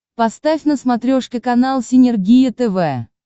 поставь на смотрешке канал синергия тв